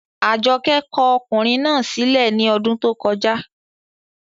Àjọkẹ́ kọ ọkùnrin náà sí lẹ̀ ní ọdún tó kọjá